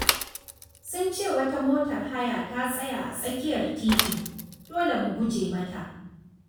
Sun ce wata motar haya ta tsaya a tsakiyar titin, dole mu guje mata.